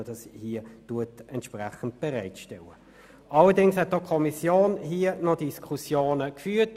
Allerdings hat auch die Kommission noch Diskussionen darüber geführt.